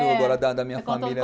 É. Agora da da minha família.